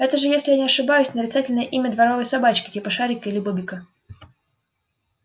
это же если я не ошибаюсь нарицательное имя дворовой собачки типа шарика или бобика